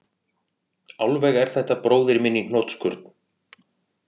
Alveg er þetta bróðir minn í hnotskurn